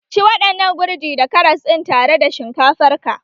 Ci waɗannan gurji da karas din tare da shinkafar ka!